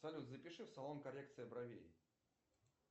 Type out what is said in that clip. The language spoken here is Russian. салют запиши в салон коррекции бровей